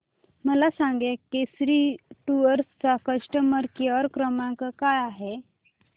मला सांगा केसरी टूअर्स चा कस्टमर केअर क्रमांक काय आहे